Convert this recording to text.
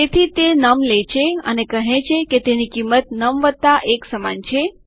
તેથી તે નમ લે છે અને કહે છે કે તેની કિંમત નમ વત્તા 1 સમાન છે